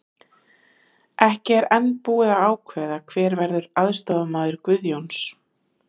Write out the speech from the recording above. Ekki er enn búið að ákveða hver verður aðstoðarmaður Guðjóns.